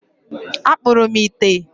Akpụrụ m ite.